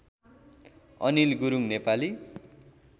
Anil Gurung Nepali